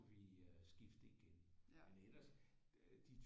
Vi øh skifte igen men eller de